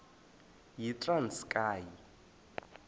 yitranskayi